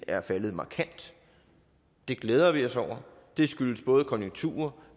er faldet markant det glæder vi os over det skyldes både konjunkturer